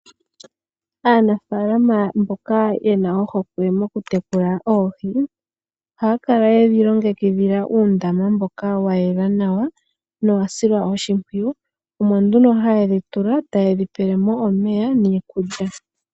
Aanafaalama mboka ye na ohokwe mokutekula oohi, ohaya kala ye dhi longekidhila uundama mboka wa yela nawa nowa silwa oshimpwiyu. Omo nduno haye dhi tula, taye dhi pele mo omeya niikulya.